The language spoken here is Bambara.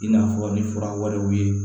I n'a fɔ ni fura wɛrɛw ye